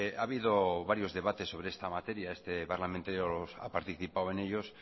ha habido varios debates sobre esta materia y este parlamentario ha participado en ellos